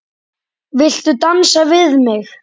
Viltu dansa við mig?